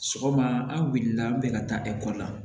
Sɔgɔma an wulila an bɛ ka taa ekɔli la